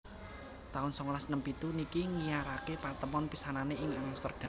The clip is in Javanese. taun songolas enem pitu niki nggiyaraké patemon pisanané ing Amsterdam